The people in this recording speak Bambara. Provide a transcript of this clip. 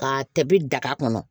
K'a tɛ daga kɔnɔ